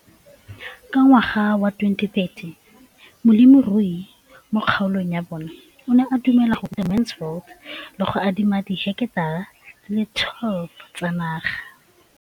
Ka ngwaga wa 2013, molemirui mo kgaolong ya bona o ne a dumela go ruta Mansfield le go mo adima di heketara di le 12 tsa naga.